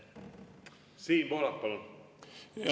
Siim Pohlak, palun!